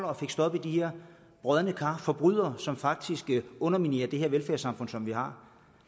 og fik stoppet de brodne kar forbrydere som faktisk underminerer det her velfærdssamfund vi har